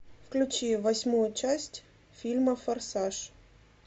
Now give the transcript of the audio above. включи восьмую часть фильма форсаж